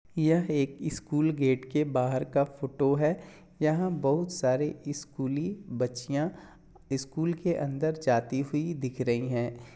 यह एक school gate बहार का फोटो है यहां बहुत सारी स्कुली बच्चियां स्कुल के अंदर जाती हुई दिख रही हैं।